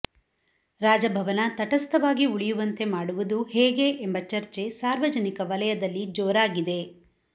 ರಾಜಭವನ ತಟಸ್ಥವಾಗಿ ಉಳಿಯುವಂತೆ ಮಾಡುವುದು ಹೇಗೆ ಎಂಬ ಚರ್ಚೆ ಸಾರ್ವಜನಿಕ ವಲಯದಲ್ಲಿ ಜೋರಾಗಿದೆ